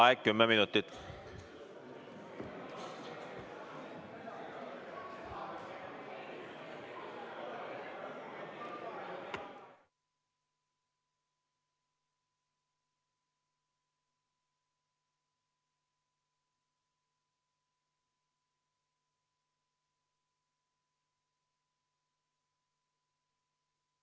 Vaheaeg kümme minutit.